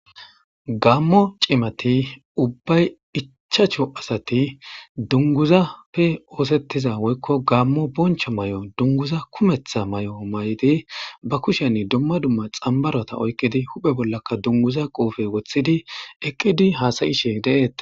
Gamo cumati ubay ichachchu asati dunguzappe osetiza woyikko gamo boncho mayo dunguza kumeta mayo mayidi ba kusheni dumma dumma xanbarota oyikidi hoye bolaka dungiza qofe wotidi eqidi hasayishe deates.